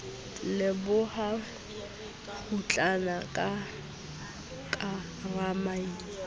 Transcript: leboha kgutlana la ka ramasedi